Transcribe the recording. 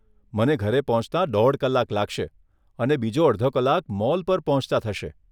મને ઘરે પહોંચતા દોઢ કલાક લાગશે અને બીજો અડધો કલાક મોલ પર પહોંચતા થશે.